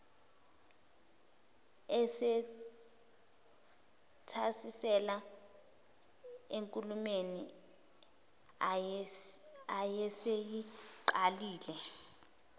esethasisela enkulumeni ayeseyiqalile